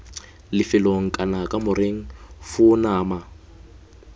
lefelong kana kamoreng foo nama